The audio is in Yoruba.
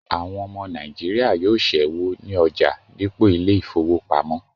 Àwọn ọmọ Nàìjíríà yóò ṣẹ́wó ní ọjà dípò ilé ìfowópamọ́